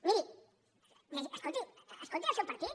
miri escolti escolti el seu partit